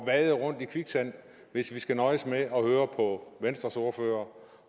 vade rundt i kviksand hvis vi skal nøjes med at høre på venstres ordfører